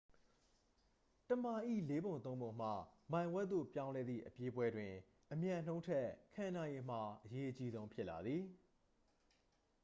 တစ်မိုင်၏ လေးပုံသုံးပုံမှ မိုင်ဝက်သို့ ပြောင်းလဲသည့် အပြေးပွဲတွင် အမြန်နှုန်းထက် ခံနိုင်ရည်မှာ အရေးအကြီးဆုံး ဖြစ်လာသည်